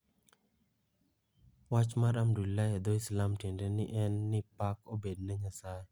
Wach mar Alhamdulillah e dho Islami tiende en ni "Pak obed ne Nyasaye"